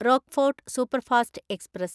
Rockfort superfast express